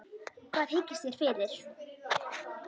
Hvað hyggist þér fyrir?